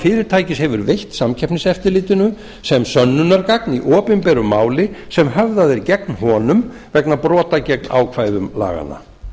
fyrirtæki hefur veitt samkeppniseftirlitinu sem sönnunargagn í opinberu máli sem höfðað er gegn honum vegna brota gegn ákvæðum laganna